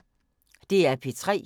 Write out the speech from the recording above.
DR P3